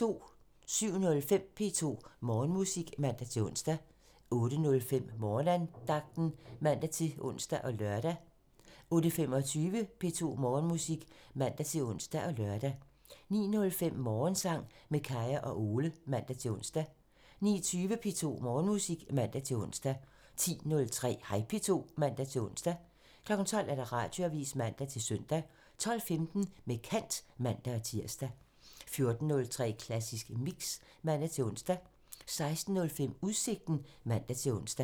07:05: P2 Morgenmusik (man-ons) 08:05: Morgenandagten (man-ons og lør) 08:25: P2 Morgenmusik (man-ons og lør) 09:05: Morgensang med Kaya og Ole (man-ons) 09:20: P2 Morgenmusik (man-ons) 10:03: Hej P2 (man-ons) 12:00: Radioavisen (man-søn) 12:15: Med kant (man-tir) 14:03: Klassisk Mix (man-ons) 16:05: Udsigten (man-ons)